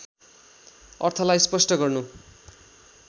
अर्थलाई स्पष्ट गर्नु